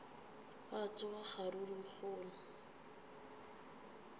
gwa tsoga kgaruru ye kgolo